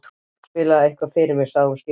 Spilaðu eitthvað fyrir mig sagði hún skipandi.